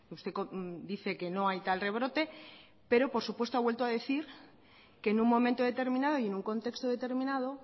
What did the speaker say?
usted dice que no hay tal rebrote pero por supuesto ha vuelto a decir que en un momento determinado y en un contexto determinado